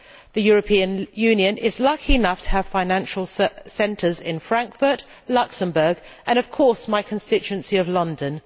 The European Union is lucky enough to have financial centres in Frankfurt, Luxembourg and, of course, my constituency of London.